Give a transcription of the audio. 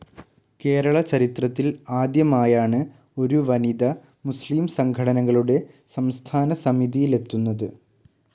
കേരള ചരിത്രത്തിൽ ആദ്യമായാണ് ഒരു വനിത മുസ്ലീം സംഘടനകളുടെ സംസ്ഥാന സമിതിയിലെത്തുന്നത്.